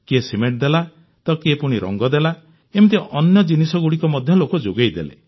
କିଏ ସିମେଂଟ ଦେଲା ତ କିଏ ରଂଗ ଦେଲା ଏମିତି ଅନ୍ୟ ଜିନିଷଗୁଡ଼ିକ ମଧ୍ୟ ଲୋକେ ଯୋଗାଇଦେଲେ